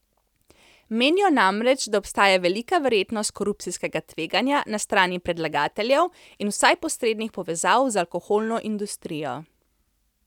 Menijo namreč, da obstaja velika verjetnost korupcijskega tveganja na strani predlagateljev in vsaj posrednih povezav z alkoholno industrijo.